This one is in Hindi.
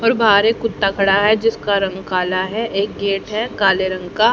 और बाहर एक कुत्ता खड़ा है जिसका रंग काला है एक गेट है काले रंग का।